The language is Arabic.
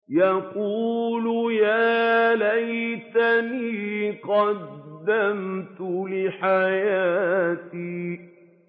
يَقُولُ يَا لَيْتَنِي قَدَّمْتُ لِحَيَاتِي